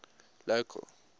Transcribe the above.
local